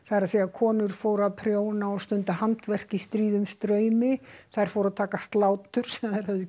konur fóru að prjóna og stunda handverk í stríðum straumi þær fóru að taka slátur sem þær höfðu